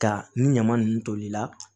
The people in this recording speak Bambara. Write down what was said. Ka ni ɲama ninnu toli la